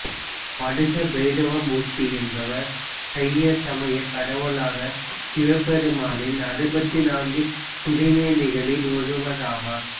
வடுக பைரவ மூர்த்தி என்பவர் சைய சமயக் கடவுளான சிவபெருமானின் அறுபத்துநான்கு திருமேனிகளுள் ஒருவராவார்